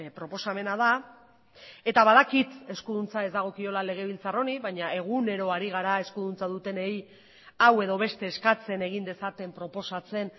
proposamena da eta badakit eskuduntza ez dagokiola legebiltzar honi baina egunero ari gara eskuduntza dutenei hau edo beste eskatzen egin dezaten proposatzen